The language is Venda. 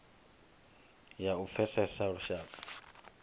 ya u pfesesa lushaka lwa